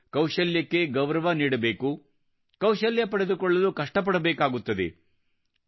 ನಾವು ಕೌಶಲ್ಯಕ್ಕೆ ಗೌರವ ನೀಡಬೇಕು ಕೌಶಲ್ಯ ಪಡೆದುಕೊಳ್ಳಲು ಕಷ್ಟ ಪಡಬೇಕಾಗುತ್ತದೆ